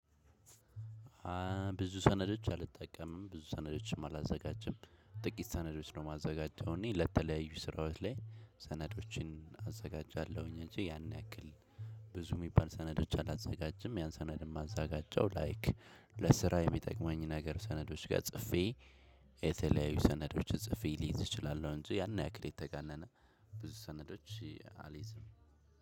ብዙ ሰነዶች አልጠቀምም ብዙ ሰነዶችም አላዘጋጅም ጥቂት ሰነዶች ነው የማዘጋጀው እኔ ለተለያዩ ስራዎች ላይ ሰነዶችን አዘጋጃለሁኝ እንጂ ያን ያክል። ብዙ የሚባል ሰነዶች አላዘጋጀም ያን ሰነድ የማዘጋጀው ላይክ ለስራ የሚጠቅመኝ ነገር ሰነዶች ጋር ጽፌ። የተለያዩ ሰነዶችን ጽፌ ሊይዝ እችላለሁ እንጂ ያን ያክል የተጋነነ ብዙ ሰነዶች አልይዝም።